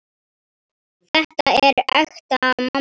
Þetta er ekta mamma!